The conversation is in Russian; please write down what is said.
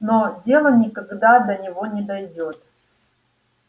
но дело никогда до него не дойдёт